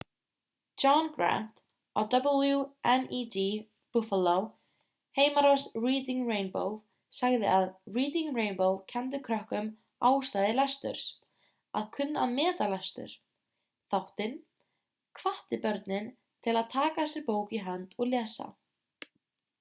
john grant á wned buffalo heimarás reading rainbow sagði að reading rainbow kenndi krökkum ástæðu lesturs ... að kunna að meta lestur - [þáttinn] hvatti börnin til að taka sér bók í hönd og lesa.